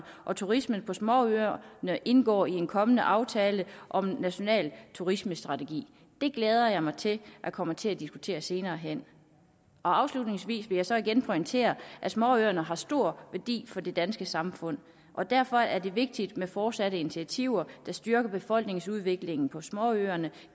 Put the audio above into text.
og turismen på småøerne indgår i en kommende aftale om en national turismestrategi det glæder jeg mig til at komme til at diskutere senere hen afslutningsvis vil jeg så igen pointere at småøerne har stor værdi for det danske samfund og derfor er det vigtigt med fortsatte initiativer der styrker befolkningsudviklingen på småøerne